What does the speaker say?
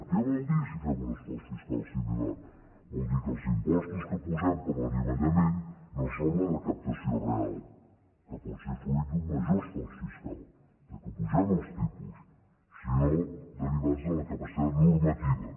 què vol dir si fem un esforç fiscal similar vol dir que els impostos que posem per a l’anivellament no són la recaptació real que pot ser fruit d’un major esforç fiscal del fet que apugem els tipus sinó derivats de la capacitat normativa